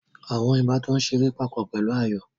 Àwọn ìbátan ń ṣeré papọ̀ pẹ̀lú ayò